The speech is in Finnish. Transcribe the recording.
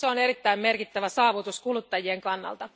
Se on erittäin merkittävä saavutus kuluttajien kannalta.